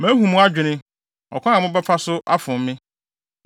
“Mahu mo adwene, ɔkwan a mobɛfa so afom me.